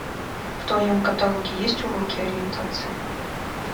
в твоем каталоге есть уроки ориентации